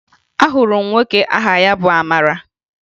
Ahụrụ m nwoke aha ya bụ Amara